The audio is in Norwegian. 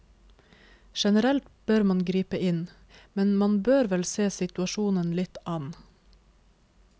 Generelt bør man gripe inn, men man bør vel se situasjonen litt an.